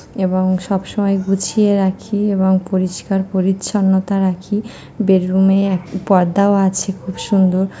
এবং সব সময় গুছিয়ে রাখি এবং পরিষ্কার পরিচ্ছন্নতা রাখি বেড রুম এ এক পর্দা আছে খুব সুন্দর।